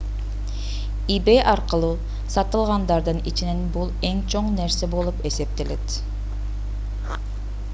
ebay аркылуу сатылгандардын ичинен бул эң чоң нерсе болуп эсептелет